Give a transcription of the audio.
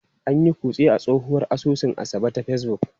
An yi kutse a tsohuwar asusun Asabe ta Facebook.